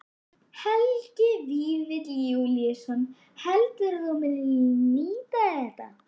Helgi Vífill Júlíusson: Heldurðu að þú munir nýta þér þetta?